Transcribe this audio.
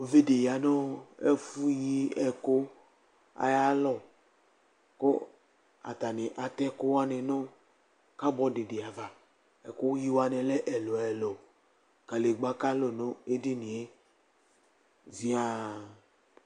Uviɖi ya ɛfɛ yi ɛku ayi alɔ, ku ata ni atɛ ɛkuwʋani nu karbɔdi di ava, ɛku yi woani lɛ ɛlu ɛlu, kalegba kalu nu edinie ziaa